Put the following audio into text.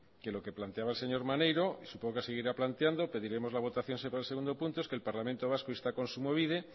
que lo que planteaba el señor maneiro y supongo que lo seguirá planteando pediremos la votación separada para el segundo punto que el parlamento vasco insta a kontsumobide